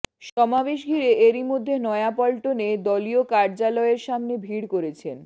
সমাবেশ ঘিরে এরইমধ্যে নয়াপল্টনে দলীয় কার্যালয়ের সামনে ভিড় করেছেন